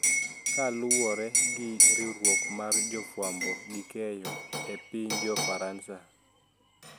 Koluwore gi riwruok mar jofwambo gi keyo e piny jo Faransa